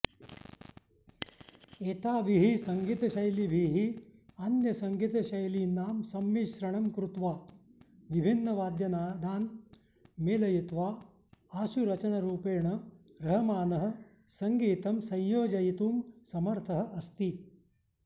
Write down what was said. एताभिः सङ्गीतशैलीभिः अन्यसङ्गीतशैलीनां सम्मिश्रणं कृत्वा विभिन्नवाद्यनादान् मेलयित्वा आशुरचनरूपेण रहमानः सङ्गीतं संयोजयितुं समर्थः अस्ति